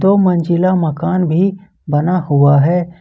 दो मंजिला मकान भी बना हुआ है।